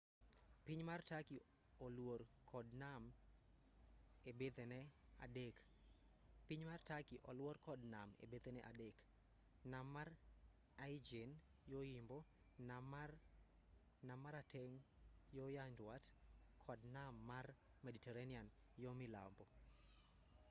piny mar turkey oluor kod nam ebethene adek nam mar aegean yo-yimbo nam marateng' yo-nyandwat kod nam mar mediterranean yo-milambo